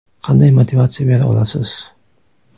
Qanday motivatsiya bera olasiz?